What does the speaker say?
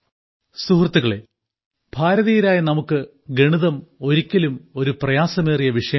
സുഹൃത്തുക്കളേ ഭാരതീയരായ നമുക്ക് ഗണിതം ഒരിക്കലും ഒരു പ്രയാസമേറിയ വിഷയമല്ല